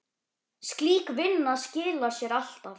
Slík vinna skilar sér alltaf.